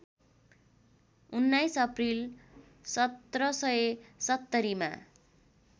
१९ अप्रिल १७७० मा